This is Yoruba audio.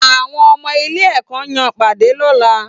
Àwọn ọmọ ilé ẹkọ ya pade lọla